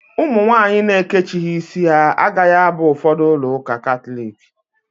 Ụmụ nwaanyị na-ekechighi ísí ha agaghị aba ụfọdụ ulọ ụka Katọliki.